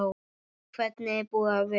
Hvernig er búið að vera?